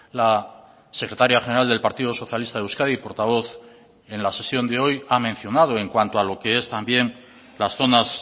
la secretaria general del partido socialista de euskadi portavoz en la sesión de hoy ha mencionado en cuanto a lo que es también las zonas